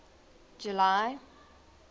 july